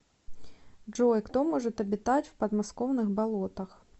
джой кто может обитать в подмосковных болотах